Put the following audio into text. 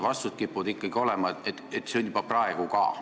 Vastused kipuvad ikkagi olema sellised, et nii on juba praegu ka.